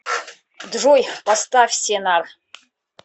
джой поставь сенар